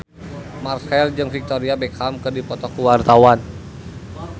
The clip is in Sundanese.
Marchell jeung Victoria Beckham keur dipoto ku wartawan